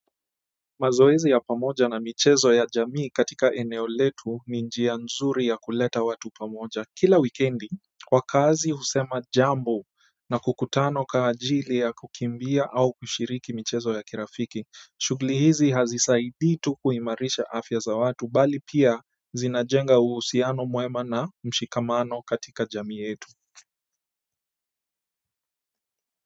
Mazoezi ya pamoja na michezo ya jamii katika eneo letu ni njia nzuri ya kuleta watu pamoja. Kila wikendi, kwa kazi husema jambo na kukutana kwa ajili ya kukimbia au kushiriki michezo ya kirafiki, shughuli hizi hazisaidii tu kuimarisha afya za watu, bali pia zinajenga uhusiano mwema na mshikamano katika jamii yetu.